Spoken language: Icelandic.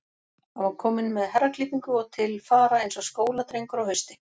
Hann var kominn með herraklippingu og til fara eins og skóladrengur á hausti.